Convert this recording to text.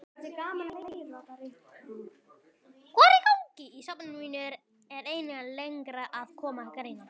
Í safni mínu eru einnig lengra að komnar greinar.